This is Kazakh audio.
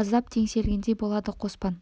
аздап теңселгендей болады қоспан